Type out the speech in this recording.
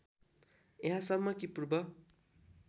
यहाँसम्म कि पूर्व